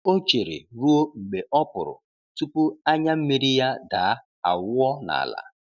O chere ruo mgbe ọpụrụ tupu anya mmiri ya daa awụọ n'ala.